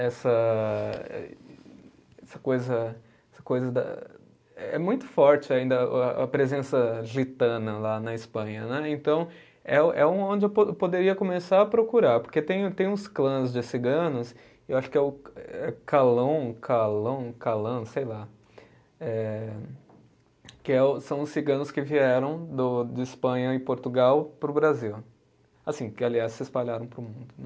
essa essa coisa, essa coisa da, é muito forte ainda a a presença lá na Espanha né, então é o, é onde eu po eu poderia começar a procurar porque tem tem uns clãs de ciganos eu acho que é o Calón, Calón, Calán, sei lá eh que é os, são os ciganos que vieram do de Espanha e Portugal para o Brasil assim, que aliás se espalharam para o mundo né